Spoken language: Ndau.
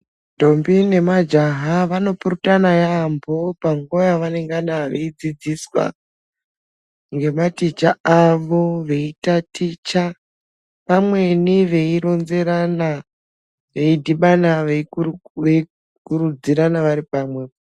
Ndombi nemajaha vanopurutana yaamho panguva yavanenga vachidzidziswa nematicha avo veitaticha pamweni veironzerana veidhibana veikurukure veikurudzirana varipamwepo .